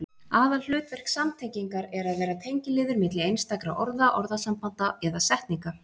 Aðalhlutverk samtengingar er að vera tengiliður milli einstakra orða, orðasambanda eða setninga.